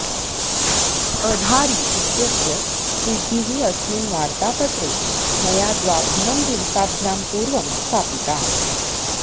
अधारि इत्यस्य सिद्धिः अस्मिन् वार्तापत्रे मया द्वाभ्यां दिवसाभ्यां पूर्वं स्थापिता